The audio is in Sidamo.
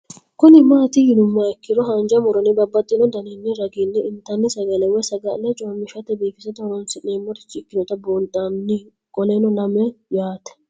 Kuni mati yinumoha ikiro hanja muroni babaxino daninina ragini intani sagale woyi sagali comishatenna bifisate horonsine'morich ikinota bunxana qoleno lame yaate